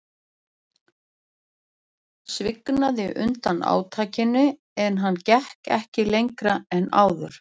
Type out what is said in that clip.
Prjónninn svignaði undan átakinu en hann gekk ekki lengra en áður.